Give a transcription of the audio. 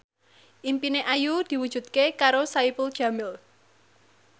impine Ayu diwujudke karo Saipul Jamil